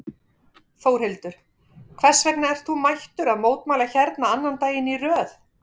Þórhildur: Hvers vegna ert þú mættur að mótmæla hérna annan daginn í röð?